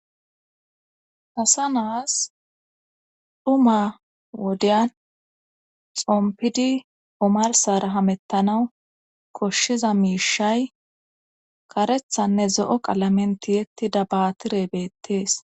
haysa nus dhuma wodeyan xompidi omarsara hamettanawu koshshiza miishay karethanne zo7o qalamentiyettida baatire beettees